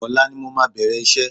Ọ̀la ni mo máa bẹ̀rẹ̀ iṣẹ́